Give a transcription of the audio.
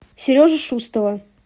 сережу шустова